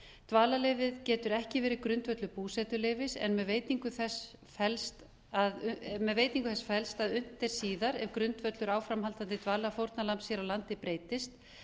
dvalarleyfið getur ekki verið grundvöllur búsetuleyfis en með veitingu þess felst að unnt er síðar ef grundvöllur áframhaldandi dvalar fórnarlambs hér á landi breytist